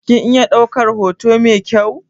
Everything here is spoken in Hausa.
Kin iya ɗaukar hoto mai kyau?